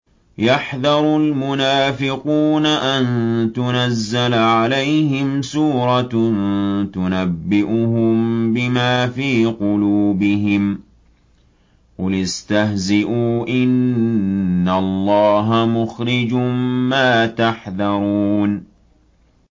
يَحْذَرُ الْمُنَافِقُونَ أَن تُنَزَّلَ عَلَيْهِمْ سُورَةٌ تُنَبِّئُهُم بِمَا فِي قُلُوبِهِمْ ۚ قُلِ اسْتَهْزِئُوا إِنَّ اللَّهَ مُخْرِجٌ مَّا تَحْذَرُونَ